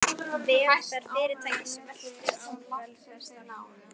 Velferð fyrirtækis veltur á velferð starfsmannanna.